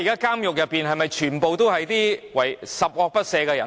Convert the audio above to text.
監獄內的囚犯都是十惡不赦的人嗎？